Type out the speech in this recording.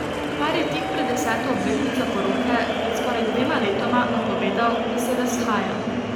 Par je tik pred deseto obletnico poroke pred skoraj dvema letoma napovedal, da se razhaja.